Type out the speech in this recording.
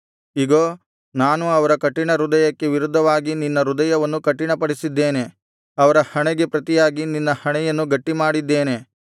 ಇಗೋ ನಾನು ಅವರ ಕಠಿಣ ಹೃದಯಕ್ಕೆ ವಿರುದ್ಧವಾಗಿ ನಿನ್ನ ಹೃದಯವನ್ನು ಕಠಿಣಪಡಿಸಿದ್ದೇನೆ ಅವರ ಹಣೆಗೆ ಪ್ರತಿಯಾಗಿ ನಿನ್ನ ಹಣೆಯನ್ನು ಗಟ್ಟಿಮಾಡಿದ್ದೇನೆ